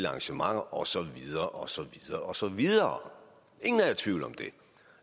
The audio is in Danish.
arrangementer og så videre og så videre